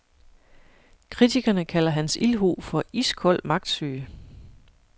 Kritikerne kalder hans ildhu for iskold magtsyge.